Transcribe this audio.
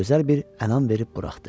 Ona gözəl bir ənam verib buraxdı.